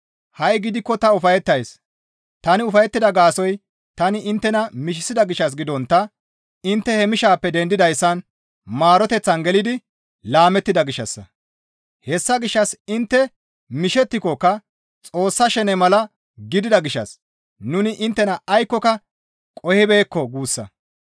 Ha7i gidikko ta ufayettays; tani ufayettida gaasoykka tani inttena mishisida gishshas gidontta intte he mishaappe dendidayssan maaroteththan gelidi laamettida gishshassa; hessa gishshas intte mishettikokka Xoossa shene mala gidida gishshas nuni inttena aykkoka qohibeekko guussa.